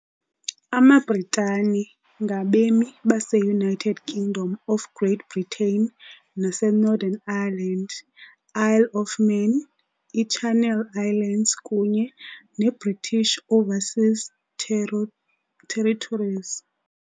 AmaBritane, "amaBritane", ngabemi baseUnited Kingdom of Great Britain nase Northern Ireland, Isle of Man, iChannel Islands kunye neBritish Overseas Territories .